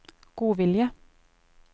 godvilje